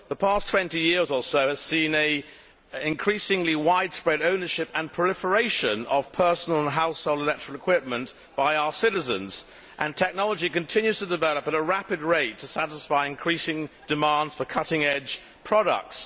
The past twenty years or so has seen an increasingly widespread ownership and proliferation of personal household and electrical equipment by our citizens, and technology continues to develop at a rapid rate to satisfy increasing demands for cutting edge products.